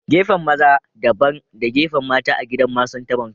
Gefen maza. Dabban da gefen mata a gidan Masun tabon kai.